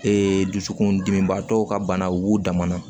Ee dusukun dimibaatɔw ka bana u b'u dama na